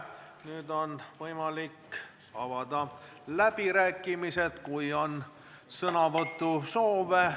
Nüüd on võimalik avada läbirääkimised, kui on sõnavõtusoovi.